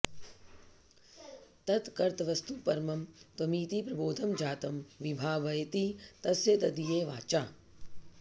तत्कर्तृवस्तु परमं त्वमिति प्रबोधं जातं विभावयति तस्य तदीय वाचा